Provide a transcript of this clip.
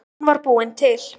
Hún var búin til.